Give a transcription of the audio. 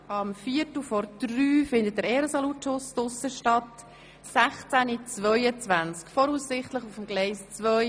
Um 14.45 Uhr findet der Ehren-Salutschuss statt, und um 15.22 fährt der Zug, voraussichtlich auf Gleis 2.